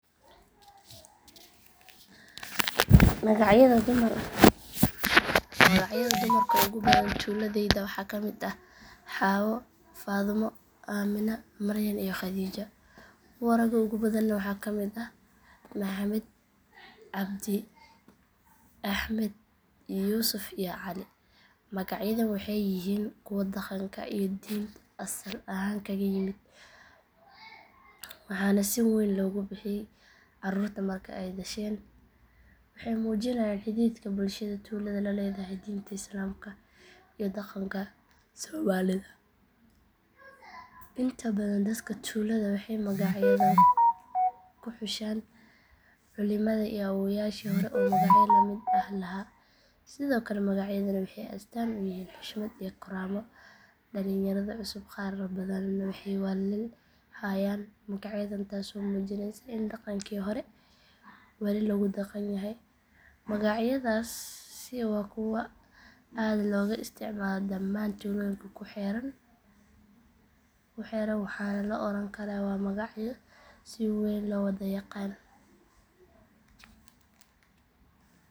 Magacyada dumarka ugu badan tuuladayda waxaa ka mid ah xaawo, faadumo, aamina, maryan iyo khadiija. Kuwa ragga ugu badanna waxaa ka mid ah maxamed, cabdi, axmed, yuusuf iyo cali. Magacyadan waxay yihiin kuwa dhaqanka iyo diinta asal ahaan kaga yimid waxaana si weyn loogu bixiyaa carruurta marka ay dhasheen. Waxay muujinayaan xidhiidhka bulshada tuulada la leedahay diinta islaamka iyo dhaqanka soomaalida. Inta badan dadka tuulada waxay magacyadan ku xushaan culimada iyo awoowayaashii hore oo magacyo la mid ah lahaa. Sidoo kale magacyadani waxay astaan u yihiin xushmad iyo karaamo. Dhalinyarada cusub qaar badan waxay wali hayaan magacyadan taasoo muujinaysa in dhaqankii hore wali lagu dhaqan yahay. Magacyadaasi waa kuwo aad looga isticmaalo dhammaan tuulooyinka ku xeeran waxaana la oran karaa waa magacyo si weyn loo wada yaqaan.